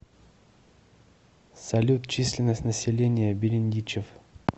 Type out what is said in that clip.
салют численность населения берендичев